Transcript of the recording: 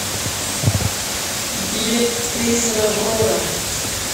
билет крейсер аврора